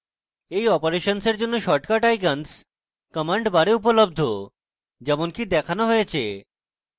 এই অপারেশনসের জন্য শর্টকাট icons command bar উপলব্ধ যেমনকিদেখানো হয়েছে